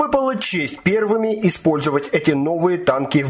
выпала честь первыми использовать эти новые танки